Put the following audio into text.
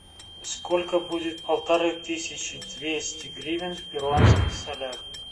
сколько будет полторы тысячи двести гривен в перуанских солях